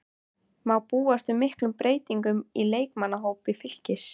Má búast við miklum breytingum á leikmannahópi Fylkis?